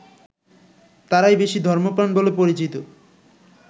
তারাই বেশি ধর্মপ্রাণ বলে পরিচিত